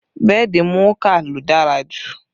Bẹ́ẹ̀dì Mouka ló dára jù